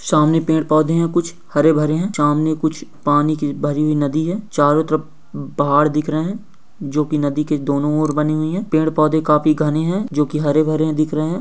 सामने पैड-पौधे है कुछ हरे-भरे है सामने कुछ पानी की भरी हुई नदी है चारों तरफ पहाड दिख रहे है जोके नदी के दोनों और बने हुए है पैड-पौधे काफी घने है जोके हरे भरे दिख रहे हैं।